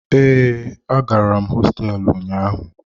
Ee, agara m hosteelu ụnyaahụ.